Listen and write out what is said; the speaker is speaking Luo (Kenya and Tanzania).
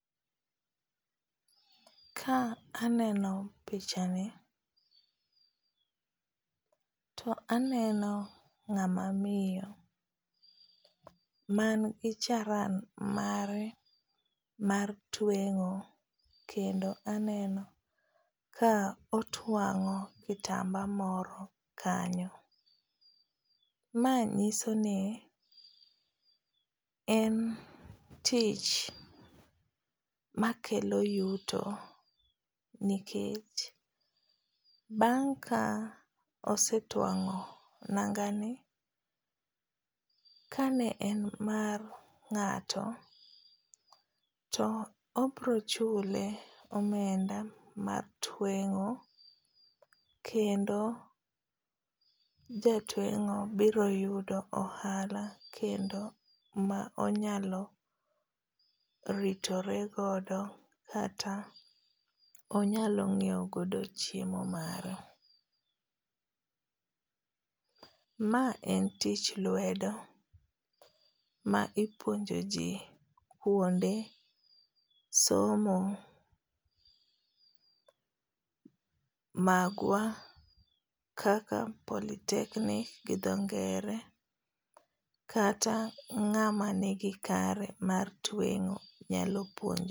Ka aneno pichani to aneno ngáma miyo ma nigi charan mare mar twengó, kendo aneno ka otwangó kitamba moro kanyo. Ma nyiso ni, en tich makelo yuto nikech bang' ka osetwangó nanga ni, ka ne en mar ngáto, to obiro chule omenda mar twengó, kendo jatwengó biro yudo ohala ma onyalo ritore godo kata onyalo nyiewo godo chiemo mare. Ma en tich lwedo ma ipuonjo ji kuonde somo magwa ka polytechnic gi dho ngere. Kata ngáma nigi kare mar twengó nyalo.